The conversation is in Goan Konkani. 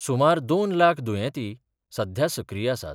सुमार दोन लाख दुयेंती सध्या सक्रीय आसात.